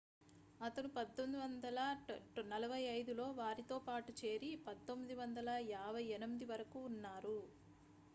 అతను 1945 లో వారితో పాటు చేరి 1958 వరకు ఉన్నారు